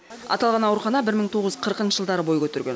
аталған аурухана бір мың тоғыз жүз қырықыншы жылдары бой көтерген